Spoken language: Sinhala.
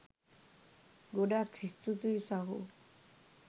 ගොඩක් ස්තුතියි සහෝ.